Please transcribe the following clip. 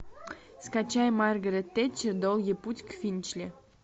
скачай маргарет тэтчер долгий путь к финчли